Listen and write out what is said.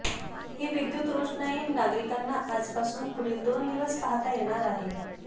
ही विद्युत रोषणाई नागरिकांना आजपासून पुढील दोन दिवस पाहता येणार आहे